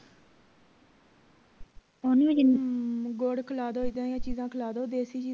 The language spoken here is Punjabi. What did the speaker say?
ਗੁੜ ਖਿਲਾ ਦੋ ਇੱਦਾਂ ਦੀਆਂ ਚੀਜਾਂ ਖਿਲਾ ਦੋ ਦੇਸੀ ਚੀਜ਼